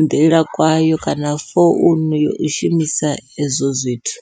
nḓila kwayo kana founu yo u shumisa ezwo zwithu.